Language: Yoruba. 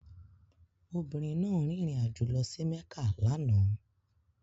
Obìnrin náà rìnrìn àjò lọ sí Mekka lánàá